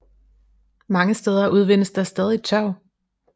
Mange steder udvindes der stadig tørv